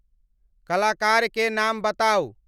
कलाकार के नाम बताऊं